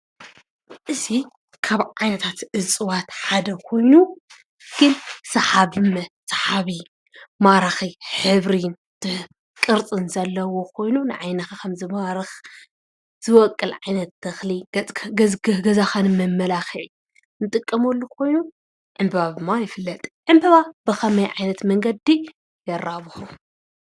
እዚ ካብ ዓይነታት ዕፁባት ሓደ ኾይኑ ሳሓቢ ሳሓቢ፣ ማራኺ ሕብርን ቅርፅ ዘሎዎ ኾይኑ ንዓይኒኻ ከም ዝማርኽ ዝወቅል ዓይነት ተኽሊ ገፅካ ገዛ ገዛኻ ንመመላኽዒ ንጥቀመሉ ኾይኑ ዕንበባ ብምባል ይፍለጥ። ዕንበባ ብኸመይ ዓይነት መንገዲ ይራብሑ?